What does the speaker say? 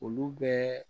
Olu bɛɛ